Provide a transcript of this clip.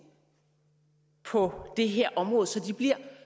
på det her område så de bliver